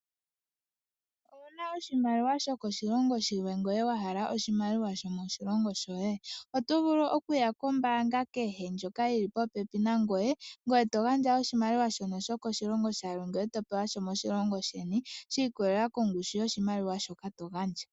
Ouna oshimaliwa shokoshilongo shilwe ngoye wa hala oshimaliwa sho moshilongo shoye ? Oto vulu okuya kombaanga kehe ndjoka yili popepi nangoye , ngoye to gandja oshimaliwa shono shokoshilongo shilwe ngoye to pewa sho moshilongo sheni shi ikolelela kongushu yoshimaliwa shoka to gandja .